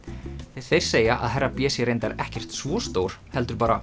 þeir segja að herra b sé reyndar ekkert svo stór heldur bara